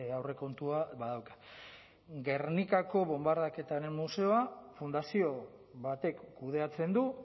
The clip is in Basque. aurrekontua badauka gernikako bonbardaketaren museoa fundazio batek kudeatzen du